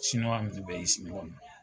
Siniwa ninnu bɛɛ ye